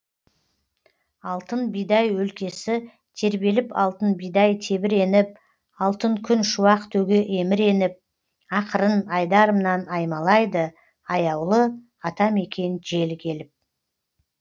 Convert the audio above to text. алтын бидай өлкесі тербеліп алтын бидай тебіреніп алтын күн шуақ төге еміреніп ақырын айдарымнан аймалайды аяулы атамекен желі келіп